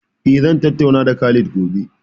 Eh zan tattauna da Khalid Gobe